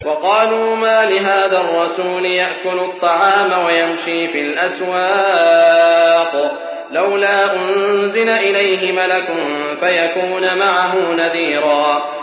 وَقَالُوا مَالِ هَٰذَا الرَّسُولِ يَأْكُلُ الطَّعَامَ وَيَمْشِي فِي الْأَسْوَاقِ ۙ لَوْلَا أُنزِلَ إِلَيْهِ مَلَكٌ فَيَكُونَ مَعَهُ نَذِيرًا